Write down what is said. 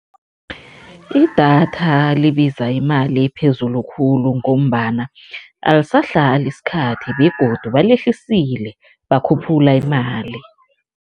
Idatha libiza imali ephezulu khulu ngombana alisahlali isikhathi begodu balehlisile, bakhuphula imali.